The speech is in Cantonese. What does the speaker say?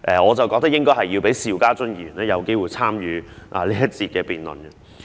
我認為應該讓邵家臻議員有機會參與這一節辯論。